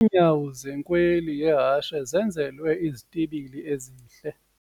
Iinyawo zenkweli yehashe zenzelwe izitibili ezihle.